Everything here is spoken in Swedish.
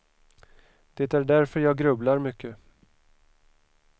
Det är därför jag grubblar mycket.